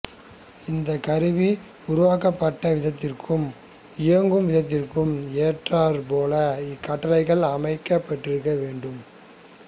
இந்த கருவிகள் உருவாக்கப்பட்ட விதத்திற்கும் இயங்கும் விதத்திற்கும் ஏற்றார் போல இக்கட்டளைகள் அமைக்கப்பெற்றிருக்க வேண்டும்